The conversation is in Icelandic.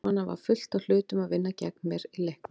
Svo var fullt af hlutum að vinna gegn mér í leiknum.